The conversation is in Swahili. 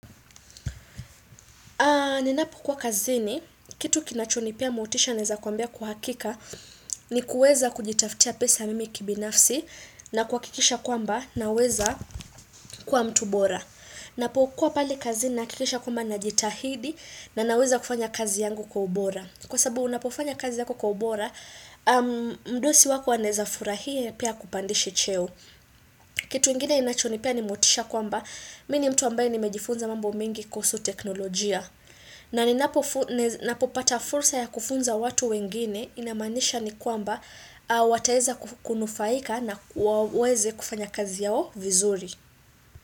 Nilipokuwa kazini, kitu kinachonipea motisha naeza kuambia kwa uhakika, ni kuweza kujitafutia pesa mimi kibinafsi na kuhakikisha kwamba naweza kuwa mtu bora. Napokuwa pale kazini nahakikisha kwamba najitahidi na naweza kufanya kazi yangu kwa ubora. Kwa sababu unapofanya kazi yako kwa ubora, mdosi wako anaeza furahia pia akupandishe cheo. Kitu ingine inachonipea ni motisha kwamba, mimi ni mtu ambaye nimejifunza mambo mingi kuhusu teknolojia. Na ninapopata fursa ya kufunza watu wengine inamaanisha ni kwamba wataeza kunufaika na waweze kufanya kazi yao vizuri.